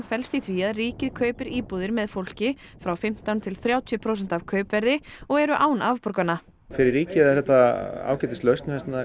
felst í því að ríkið kaupir íbúðir með fólki frá fimmtán til þrjátíu prósent af kaupverði og eru án afborgana fyrir ríkið er þetta ágætislausn